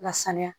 Lasanuya